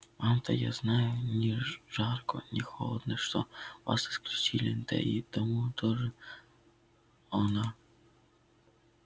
вам-то я знаю ни жарко ни холодно что вас исключили да и тому тоже она